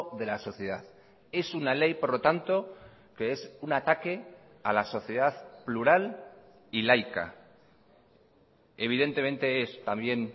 de la sociedad es una ley por lo tanto que es un ataque a la sociedad plural y laica evidentemente es también